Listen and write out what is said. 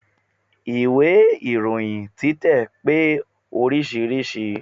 Ìwé ìròyin títẹ̀ pé oríṣiríṣi.